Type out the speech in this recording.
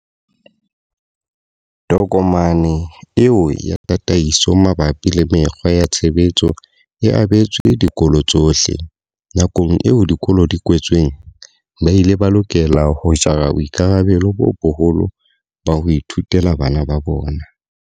Tokomane eo ya tataiso mabapi le mekgwa ya tshebetso e abetswe dikolo tsohle. Nakong eo dikolo di kwetsweng, ba ile ba lokela ho jara boikarabelo bo boholo ba ho ithutela bana ba bona.